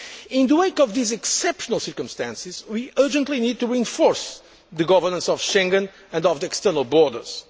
In the wake of these exceptional circumstances, we urgently need to reinforce the governance of Schengen and of the external borders.